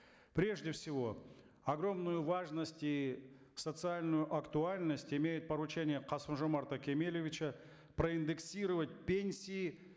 прежде всего огромную важность и социальную актуальность имеет поручение касым жомарта кемелевича проиндексировать пенсии